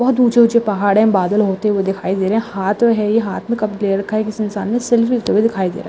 बहुत ऊंचे-ऊंचे पहाड़ है। बादल होते हुए दिखाई दे रहे है। हाथ में है। ये हाथ में कप ले रखा है। किसी इंसान ने सेलफ़ी होते हुए दिखाई दे रहा है।